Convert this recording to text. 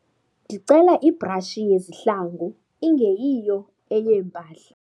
Ndicela ibrashi yezihlangu ingeyiyo eyeempahla.